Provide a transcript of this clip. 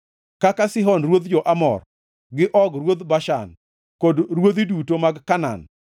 kaka Sihon ruodh jo-Amor, gi Og ruodh Bashan, kod ruodhi duto mag Kanaan,